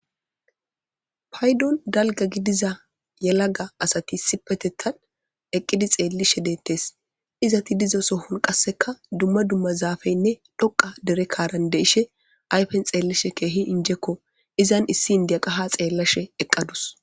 Paydon dalga gidiza yelaga asati issipetetan eqqidi xellishe de'ettes. izzeti dizo Soho qasekka dumma dumma zappeyne dhoqa dere Karan de'ishe dettes. Ayfen xelishe kehi injekko. Izzan issi indiya qasi ha xellashe eqadus.